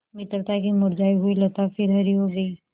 मित्रता की मुरझायी हुई लता फिर हरी हो गयी